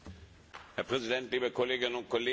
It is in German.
Herr Präsident, liebe Kolleginnen und Kollegen!